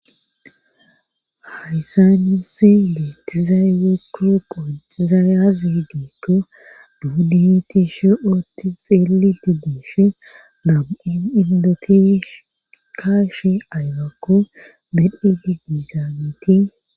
hayssan nuisi beetizay woyikko qoncizaaya aze gikko nuni tishi oti xeeelizayi diishe nam'u indoti kaashe aybakko medhdhidi dizageti